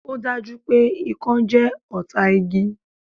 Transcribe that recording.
Ò dá jú pé Ikán jẹ́ ọ̀tá igi